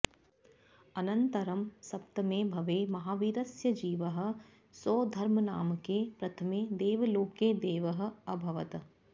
अनन्तरं सप्तमे भवे महावीरस्य जीवः सौधर्मनामके प्रथमे देवलोके देवः अभवत्